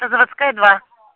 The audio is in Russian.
заводская два